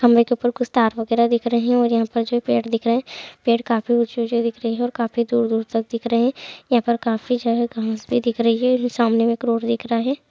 खंभे के ऊपर कुछ तार वगैरा दिख रहे है और यहाँ पर जो पेड़ दिख रहे है पेड़ काफी ऊंचे ऊंचे दिख रहे है और काफी दूर दूर तक दिख रहे है यहाँ पे काफी जो है घांस भी दिख रही है और जो सामने एक रोड दिख रहा है।